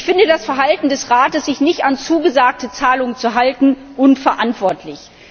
Ich finde das Verhalten des Rates, sich nicht an zugesagte Zahlungen zu halten, unverantwortlich.